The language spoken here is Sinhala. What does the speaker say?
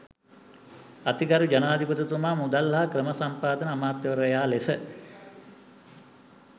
අතිගරු ජනාධිපතිතුමා මුදල් හා ක්‍රමසම්පාදන අමාත්‍යවරයා ලෙස